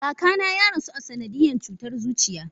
Kakana ya rasu a sanadiyan cutar zuciya.